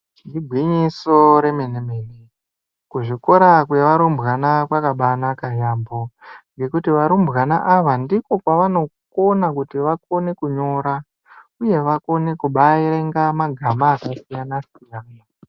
Igwinyiso remene-mene. Kuzvikora kwevarumbwana kwakabanaka yaamho ngekuti varumbwana ava ndiko kwavanokona kuti vakone kunyora uye vakone kubaerenga magama akasiyana-siyana.